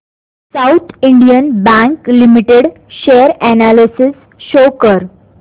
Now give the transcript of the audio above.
south Indian bank limited share analysis show कर